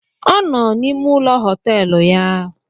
Ọ nọ n’ime ụlọ họtelụ ya